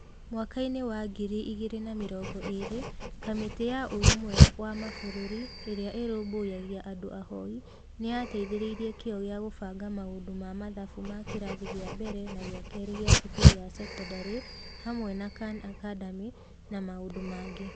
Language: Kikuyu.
Mwaka-inĩ wa ngiri igĩrĩ na mĩrongo ĩĩrĩ, Kamĩtĩ ya Ũrũmwe wa Mabũrũri Ĩrĩa Ĩrũmbũyagia Andũ Ahoi nĩ yateithĩrĩirie kĩyo gĩa kũbanga maũndũ ma mathafu ma kĩrathi gĩa mbere na gĩa kĩrĩ gĩa cukuru ya sekondarĩ hamwe na Khan Academy na maũndũ mangĩ.